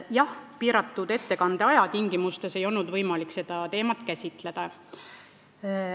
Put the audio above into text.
Jah, ettekande piiratud aja tingimustes ei olnud võimalik seda teemat käsitleda.